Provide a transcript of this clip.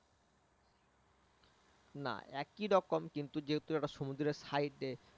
না একই রকম কিন্তু যেহেতু একটা সমুদ্রের সাইড